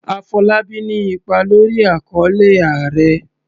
Afolábí ní ipa lórí àkọlé"Ààrẹ".